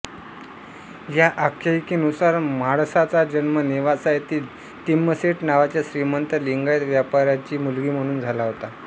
या आख्यायिकेनुसार म्हाळसाचा जन्म नेवासा येथील तिम्मसेठ नावाच्या श्रीमंत लिंगायत व्यापाऱ्याची मुलगी म्हणून झाला होता